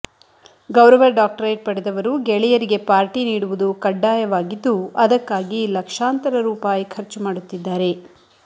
ಗೌರವ ಡಾಕ್ಟರೇಟ್ ಪಡೆದವರು ಗೆಳೆಯರಿಗೆ ಪಾರ್ಟಿ ನೀಡುವುದು ಕಡ್ಡಾಯವಾಗಿದ್ದು ಅದಕ್ಕಾಗಿ ಲಕ್ಷಾಂತರ ರೂಪಾಯಿ ಖರ್ಚು ಮಾಡುತ್ತಿದ್ದಾರೆ